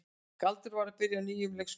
Galdur var að byrja á nýjum leikskóla.